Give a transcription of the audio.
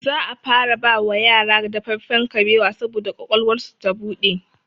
Za a fara bawa yara dafaffen kabewa saboda ƙwaƙwalwarsu ta buɗe